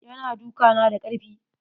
Ya na duka na da karfi.